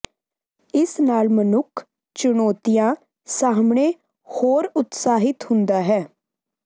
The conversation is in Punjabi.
ਇਸ ਨਾਲ ਮਨੁੱਖ ਚੁਣੌਤੀਆਂ ਸਾਹਮਣੇ ਹੋਰ ਉਤਸ਼ਾਹਿਤ ਹੁੰਦਾ ਹੈ